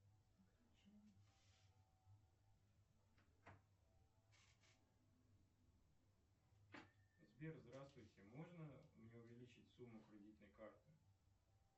сбер здравствуйте можно мне увеличить сумму кредитной карты